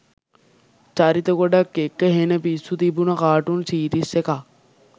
චරිත ගොඩක් එක්ක හෙන පිස්සු තිබුණ කාටුන් සීරීස් එකක්